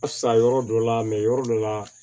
A sa yɔrɔ dɔ la yɔrɔ dɔ la